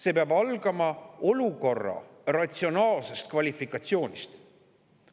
See peab algama olukorra ratsionaalsest kvalifikatsioonist.